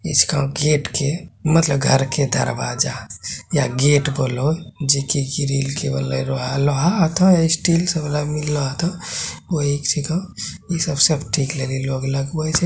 उसके गेट के मतलब घर का दरवजा या गेट बोलो जिकी की ग्रिल के वल्हलाय लोहा लोहा आता है स्टील से मिला लोहा आता है वह एक जहग इ सब सब ठीक के लगवल है ।